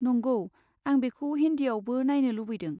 नंगौ, आं बेखौ हिन्दीयावबो नायनो लुबैदों।